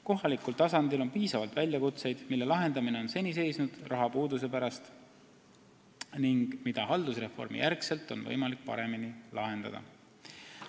Kohalikul tasandil on piisavalt väljakutseid, mille lahendamine on seni rahapuuduse pärast seisnud ning mida nüüd, haldusreformi järel, on võimalik paremini lahendada.